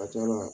A ka ca la